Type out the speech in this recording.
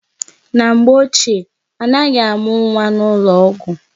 Na mgbe ochie, anaghị amụ nwa n'ụlọ ọgwụ.